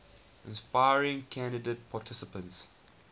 inspiring candidate participants